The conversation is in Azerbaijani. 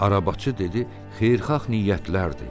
Arabacı dedi: "Xeyirxah niyyətlərdir."